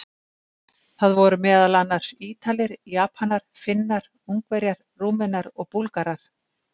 Það voru meðal annars: Ítalir, Japanar, Finnar, Ungverjar, Rúmenar og Búlgarar.